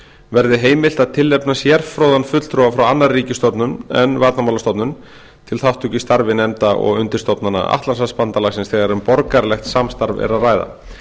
verði heimilt að tilnefna sérfróðan fulltrúa frá annarri ríkisstofnun en varnarmálastofnun til þátttöku í starfi nefnda og undirstofnana atlantshafsbandalagsins þegar um borgaralegt samstarf er að ræða